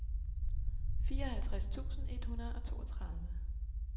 fireoghalvtreds tusind et hundrede og toogtredive